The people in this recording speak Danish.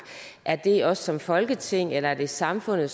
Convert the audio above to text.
er det os som folketing eller er det samfundet